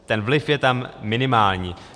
Ten vliv je tam minimální.